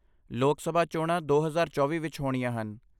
ਲੋਕ ਸਭਾ ਚੋਣਾਂ ਦੋ ਹਜ਼ਾਰ ਚੌਵੀਂ ਵਿੱਚ ਹੋਣੀਆਂ ਹਨ